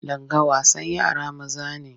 Langa wasan yara maza ne.